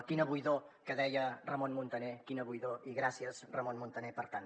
quina buidor que deia ramon muntaner quina buidor i gràcies ramon muntaner per tant